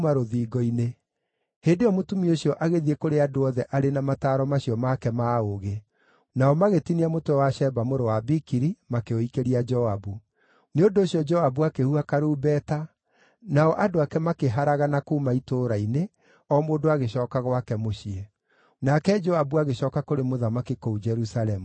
Hĩndĩ ĩyo mũtumia ũcio agĩthiĩ kũrĩ andũ othe arĩ na mataaro macio make ma ũũgĩ, nao magĩtinia mũtwe wa Sheba mũrũ wa Bikiri, makĩũikĩria Joabu. Nĩ ũndũ ũcio Joabu akĩhuha karumbeta, nao andũ ake makĩharagana kuuma itũũra-inĩ, o mũndũ agĩcooka gwake mũciĩ. Nake Joabu agĩcooka kũrĩ mũthamaki kũu Jerusalemu.